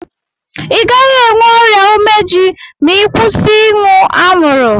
I gaghi enwe ọrịa umeji ma I kwụsị ịṅụ anwuru